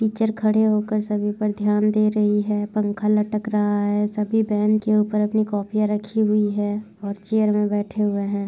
Teacher खड़े हो कर सभी पर ध्यान दे रही है पंखा लटक रहा है सभी बेंच के ऊपर अपने कॉपियाँ रखी हुई है और चेयर में बैठे हुए हैं।